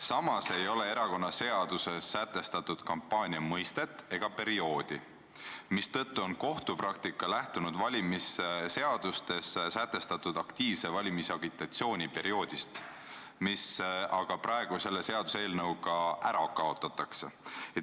Samas ei ole erakonnaseaduses sätestatud kampaania mõistet ega perioodi, mistõttu on kohtupraktika lähtunud valimisseadustes sätestatud aktiivse valimisagitatsiooni perioodist, mis aga praegu selle seaduseelnõuga ära kaotatakse.